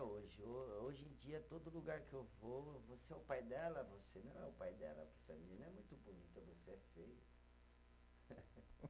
Hoje ô, hoje em dia, todo lugar que eu vou, você é o pai dela, você não é o pai dela, porque essa menina é muito bonita, você é feio.